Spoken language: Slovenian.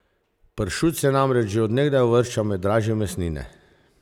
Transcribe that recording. Pršut se namreč že od nekdaj uvršča med dražje mesnine.